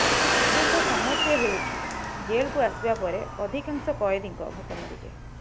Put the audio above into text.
ପ୍ରକୃତ ସମସ୍ୟା ହେଉଛି ଜେଲ୍କୁ ଆସିବା ପରେ ଅଧିକାଂଶ କଏଦୀଙ୍କ ଭୋକ ମରିଯାଏ